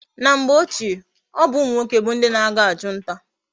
Na mgbe ochie, obu umu nwoke bu ndi na aga achu nta